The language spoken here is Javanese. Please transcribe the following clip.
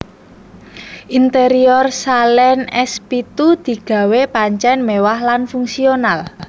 Interior Saleen S pitu digawé pancen mewah lan fungsional